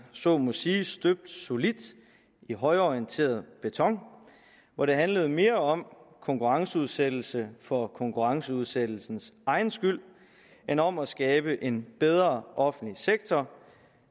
så må sige støbt solidt i højreorienteret beton hvor det handlede mere om konkurrenceudsættelse for konkurrenceudsættelsens egen skyld end om at skabe en bedre offentlig sektor